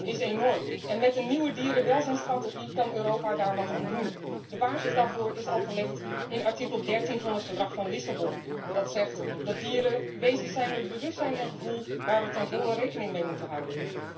Het leed dat wij dieren aandoen is enorm en met een nieuwe dierenwelzijnstrategie kan Europa daar wat aan doen. De basis daarvoor is al gelegd in artikel 13 van het Verdrag van Lissabon, dat zegt dat dieren wezens zijn met bewustzijn en gevoel, waarmee wij ten volle rekening moeten houden.